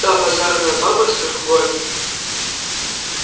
та базарная баба с трехгорки